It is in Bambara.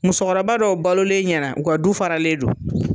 Musɔkɔrɔba dɔw balolen ɲɛna u ka du faralen don